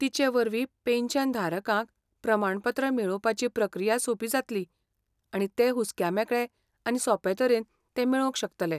तिचे वरवीं पेन्शन धारकांक प्रमाणपत्र मेळोवपाची प्रक्रिया सोपी जातली आणि ते हुस्क्या मेकळे आनी सोपे तरेन तें मेळोवंक शकतले.